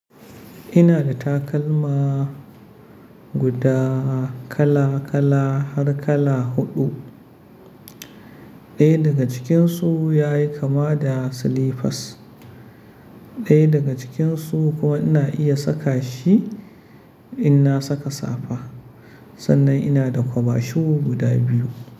Ina da takalma guda kala kala har kala huɗu. Ɗaya daga cikinsu yayi kama da slippers, ɗaya daga cikinsu kuma ina iya saka shi in na saka safa. Sannan ina da kwaba shuku guda biyu.